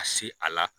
Ka se a la